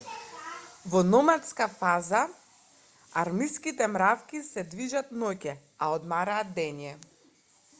во номадската фаза армиските мравки се движат ноќе а одмораат дење